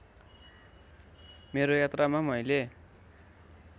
मेरो यात्रामा मैले